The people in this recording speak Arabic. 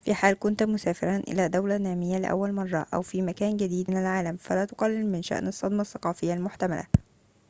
في حال كنت مسافرًا إلى دولة نامية لأول مرة أو في مكان جديد من العالم فلا تقلل من شأن الصدمة الثقافية المحتملة